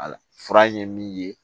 Ala fura ye min ye